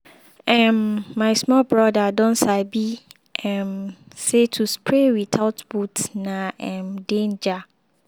um my small brother don sabi um say to spray without boot na um danger.